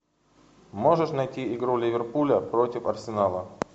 можешь найти игру ливерпуля против арсенала